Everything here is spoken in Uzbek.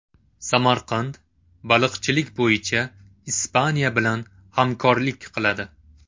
Samarqand baliqchilik bo‘yicha Ispaniya bilan hamkorlik qiladi.